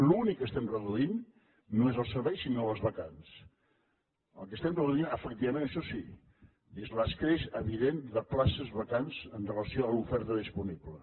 l’únic que estem reduint no és el servei sinó les vacants el que estem reduint efectivament això sí és l’escreix evident de places vacants amb relació a l’oferta disponible